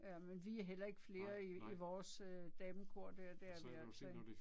Ja men vi er heller ikke flere i i vores damekor der det er vi altså ikke